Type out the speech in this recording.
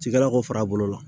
Cikɛlaw ka fara a bolo la